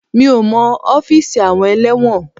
Mi ò mọ ọ́fíìsì àwọn ẹlẹ́wọ̀n.